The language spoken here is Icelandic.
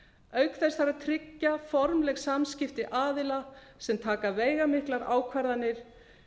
auk þess þarf að tryggja formleg samskipti aðila sem taka veigamiklar ákvarðanir